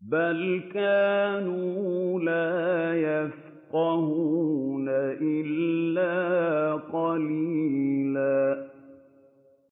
بَلْ كَانُوا لَا يَفْقَهُونَ إِلَّا قَلِيلًا